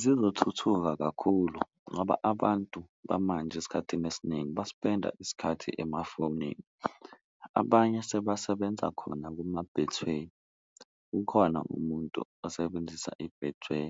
Zizothuthuka kakhulu ngoba abantu bamanje esikhathini esiningi baspenda isikhathi emafonini, abanye sebasebenza khona kuma-Betway, kukhona umuntu osebenzisa i-Betway